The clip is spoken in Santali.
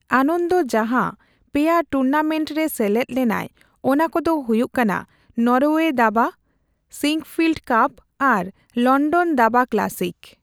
ᱟᱱᱚᱱᱫᱚ ᱡᱟᱦᱟᱸ ᱯᱮᱭᱟ ᱴᱩᱨᱱᱟᱢᱮᱱᱴᱨᱮ ᱥᱮᱞᱮᱫ ᱞᱮᱱᱟᱭ ᱚᱱᱟ ᱠᱚᱫᱚ ᱦᱩᱭᱩᱜ ᱠᱟᱱᱟ ᱱᱚᱨᱣᱮ ᱫᱟᱵᱟ, ᱥᱤᱸᱠᱯᱷᱤᱞᱰ ᱠᱟᱯ ᱟᱨ ᱞᱚᱱᱰᱚᱱ ᱫᱟᱵᱟ ᱠᱞᱟᱥᱤᱠ ᱾